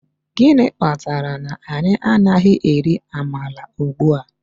Gịnị kpatara na anyị anaghị eri amala ugbua?